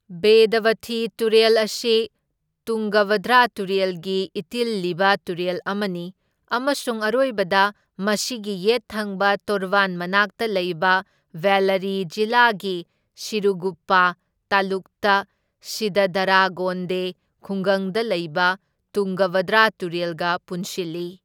ꯕꯦꯗꯕꯊꯤ ꯇꯨꯔꯦꯜ ꯑꯁꯤ ꯇꯨꯡꯒꯚꯗ꯭ꯔꯥ ꯇꯨꯔꯦꯜꯒꯤ ꯏꯇꯤꯜꯂꯤꯕ ꯇꯨꯔꯦꯜ ꯑꯃꯅꯤ, ꯑꯃꯁꯨꯡ ꯑꯔꯣꯏꯕꯗ ꯃꯁꯤꯒꯤ ꯌꯦꯠ ꯊꯪꯕ ꯇꯣꯔꯕꯥꯟ ꯃꯅꯥꯛꯇ ꯂꯩꯕ ꯕꯦꯜꯂꯔꯤ ꯖꯤꯂꯥꯒꯤ ꯁꯤꯔꯨꯒꯨꯞꯄꯥ ꯇꯥꯂꯨꯛꯇ ꯁꯤꯗꯗꯥꯔꯥꯒꯣꯟꯗꯦ ꯈꯨꯡꯒꯪꯗ ꯂꯩꯕ ꯇꯨꯡꯒꯚꯗ꯭ꯔꯥ ꯇꯨꯔꯦꯜꯒ ꯄꯨꯟꯁꯤꯜꯂꯤ꯫